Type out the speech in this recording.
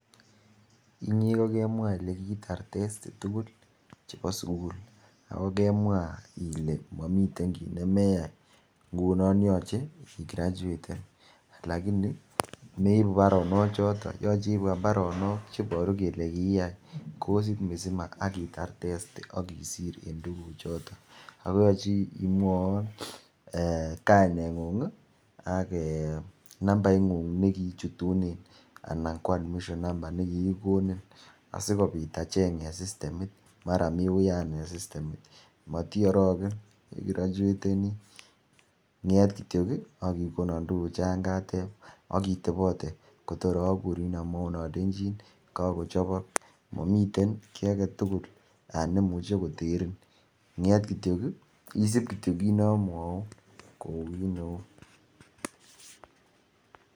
Inye ko giimwaa ile kiitar testi tugul chebo sugul, ago kemwaa ile momiten kiit nemeyaai ngunoon yoche igrachueten lagini meibu baronook choton, yoche iibwoon baronok cheboru kelee kiiyaai kosiit misima ak itaar testi ak isiir en tuguuk choton, ago yoche imwowon kainengung iih ak um eeh nambait nguung negiichutunen anan ko admission number negigigonin asigobiit acheeng en systemiit mara mii uyaan en sistemiit motiorogen igrachuetenii ngeet kityo iih ak igonon tuguk chon kateeb ak itobote kotar oguriin omwouun olenchin kagochobok, momiteen kii agetugul neimuche koteriin ngeet kityoo iih isiib kityo kiit nomwouun kouu kiit neuu.